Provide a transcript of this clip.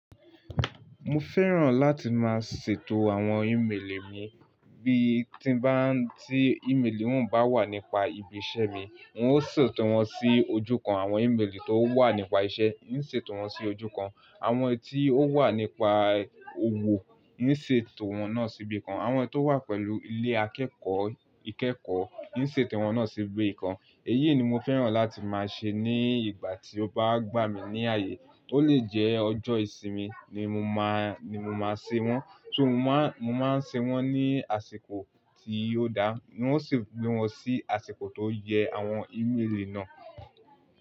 Mo fẹ́ràn láti máa ṣètò àwọn email mi, bí tí bá n tí email òún bá wà nípa ibi iṣẹ́ mi n ó ṣètò wọn sí ojú kan, àwọn email tó wà nípa iṣẹ́ n ṣètò wọn sí ojú kan, àwọn tí ó wà nípa òwò n ṣètò wọn náà síbí kan, àwọn tó wà pẹ̀lú ilé akẹ́kọ̀ọ́ ìkẹ́kọ̀ọ́ n ṣètò wọn náà síbí kan. Èyí ni mo fẹ́ràn láti máa ṣe ní ìgbà tí ó bá gbà mí ní ààyè. Ó lè jẹ́ ọjọ́ ìsinmi ni mo máa, ni mo máa ṣe wọ́n, So mo máa n ṣe wọ́n ní àsìkò tí ò dáa ni ó sì gbé wọn sí àsìkò tó yẹ àwọn email náà.